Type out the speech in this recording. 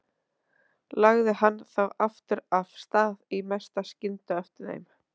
Lagði hann þá aftur af stað í mesta skyndi á eftir þeim.